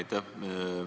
Aitäh!